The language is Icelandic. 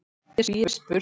Því er spurt: